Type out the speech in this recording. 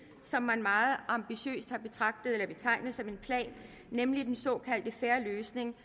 som man meget ambitiøst har betegnet som en plan nemlig den såkaldte fair løsning